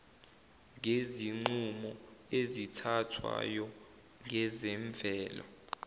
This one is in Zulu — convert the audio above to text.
ngezinqumo ezithathwayo ngezemvelo